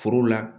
Foro la